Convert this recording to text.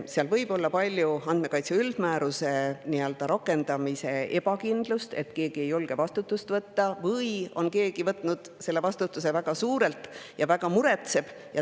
Seal võib olla palju ebakindlust andmekaitse üldmääruse rakendamisel: keegi ei julge vastutust võtta või on keegi võtnud väga suure vastutuse ja väga muretseb.